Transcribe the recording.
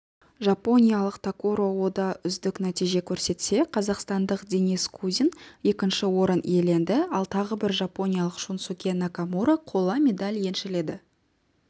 жапониялық такуро ода үздік нәтиже көрсетсе қазақстандық денис кузин екінші орын иеленді ал тағы бір жапониялық шунсуке накамура қола медаль еншіледі